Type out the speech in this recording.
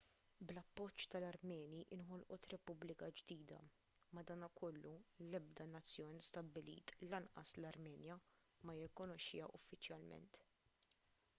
bl-appoġġ tal-armeni inħolqot repubblika ġdida madankollu l-ebda nazzjon stabbilit lanqas l-armenja ma jirrikkonoxxiha uffiċjalment